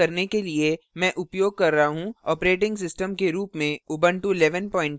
इस tutorial को record करने के लिए मैं उपयोग कर रहा हूँoperating system के रूप में ubuntu 1110